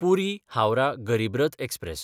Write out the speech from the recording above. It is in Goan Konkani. पुरी–हावराह गरीब रथ एक्सप्रॅस